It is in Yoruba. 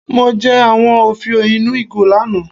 Mo jẹ àwọn òfiò ínú ìgò lánàá.